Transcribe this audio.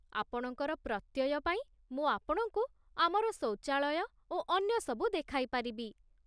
ଆପଣଙ୍କର ପ୍ରତ୍ୟୟ ପାଇଁ ମୁଁ ଆପଣଙ୍କୁ ଆମର ଶୌଚାଳୟ ଓ ଅନ୍ୟ ସବୁ ଦେଖାଇ ପାରିବି।